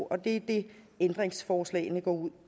det er det ændringsforslagene går